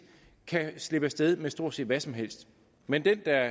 kan slippe af sted med stort set hvad som helst mens den der